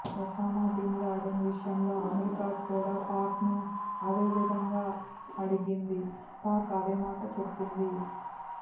Osama bin Laden విషయంలో అమెరికాకూడా పాక్ను అదే విధంగా అడిగింది పాక్ అదేమాట చెప్పింది